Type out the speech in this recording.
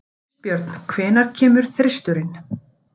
Kristbjörn, hvenær kemur þristurinn?